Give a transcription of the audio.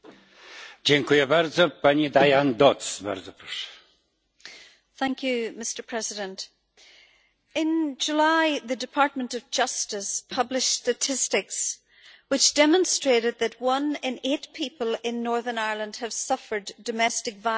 Mr President, in July, the Department of Justice published statistics which demonstrated that one in eight people in Northern Ireland have suffered domestic violence from a partner.